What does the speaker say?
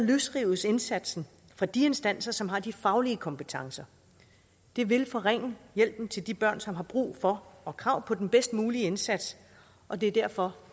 løsrives indsatsen fra de instanser som har de faglige kompetencer det vil forringe hjælpen til de børn som har brug for og krav på den bedst mulige indsats og det er derfor